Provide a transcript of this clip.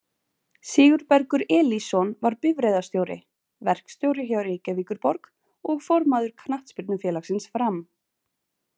Sigurbergur Elísson var bifreiðarstjóri, verkstjóri hjá Reykjavíkurborg og formaður Knattspyrnufélagsins Fram.